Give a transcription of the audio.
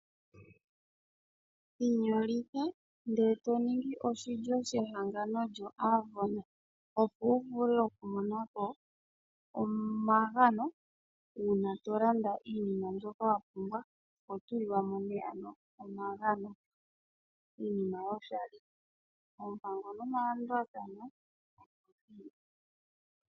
Inyolitha ndee toningi oshilyo shehangano lyoAvon. Opo wuvule okumona ko omagano uuna tolanda iinima mbyoka wapumbwa. Oho tulilwamo nee ano omagano, iinima yoshali. Oompango nomalandulathano opo dhili.